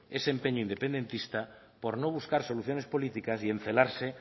ese empeño independentista por no buscar soluciones políticas y encelarse